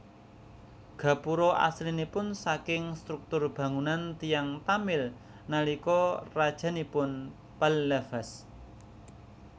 Gapura aslinipun saking struktur bangunan tiyang Tamil nalika rajanipun Pallavas